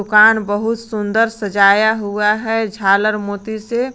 दुकान बहुत सुंदर सजाया हुआ है झालर मोती से।